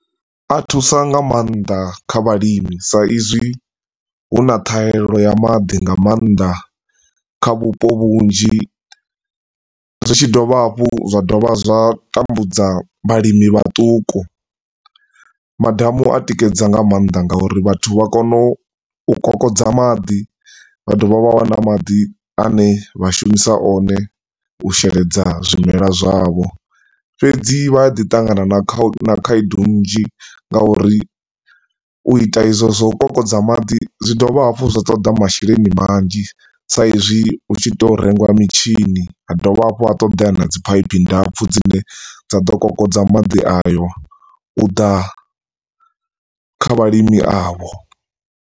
A thusa nga maanḓa kha vhalimi sa izwi hu na ṱhaelo ya maḓi nga maanḓa kha vhupo vhunzhi. Zwi tshi dovha hafhu zwa dovha zwa tambudza vhalimi vhatuku. Madamu a tikedza nga maanḓa ngauri vhathu vha kona u kokodza maḓi, vha dovha vha wana maḓi ane vhashumisa o ne u sheledza zwimelwa zwavho. Fhedzi vha a ḓi tangana na khaedu nzhi ngauri u ita ezwo zwa u kokodza maḓi, zwi dovha hafhu zwa toḓa masheleni manzhi sa izwi hu tshi to rengiwa mitshini, ha dovha hafhu ha ṱoḓeya dzi phaiphi ndapfu dzine dza do kokodza madi ayo, u ḓa kha vhalimi a vho.